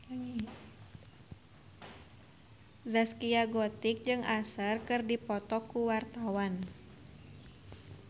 Zaskia Gotik jeung Usher keur dipoto ku wartawan